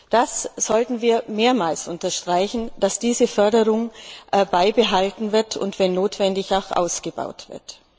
Das sollten wir mehrmals unterstreichen, dass diese Förderung beibehalten und wenn notwendig auch ausgebaut wird.